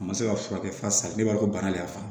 A ma se ka furakɛ f'a sali bɛɛ b'a dɔn ko bana de y'a fa